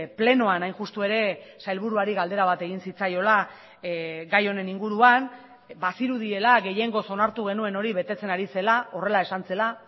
plenoan hain justu ere sailburuari galdera bat egin zitzaiola gai honen inguruan bazirudiela gehiengoz onartu genuen hori betetzen ari zela horrela esan zela